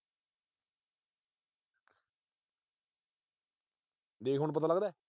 ਦੇਖ ਹੁਣ ਪਤਾ ਲੱਗਦਾ।